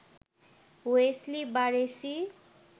Wesley Barresi